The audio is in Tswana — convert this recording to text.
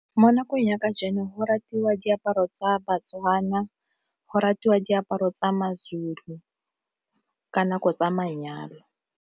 Mo nakong ya kajeno go ratiwa diaparo tsa baTswana, go ratiwa diaparo tsa maZulu ka nako tsa manyalo.